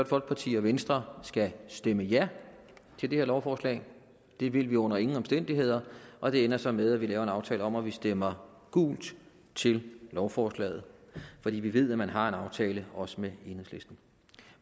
folkeparti og venstre skal stemme ja til det her lovforslag det vil vi under ingen omstændigheder og det ender så med at vi laver en aftale om at vi stemmer gult til lovforslaget fordi vi ved at man har en aftale også med enhedslisten